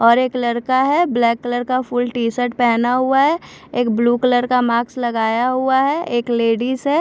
और एक लड़का है ब्लैक कलर का फुल टी शर्ट पहना हुआ है एक ब्लू कलर का मास्क लगाया हुआ है एक लेडीज़ है।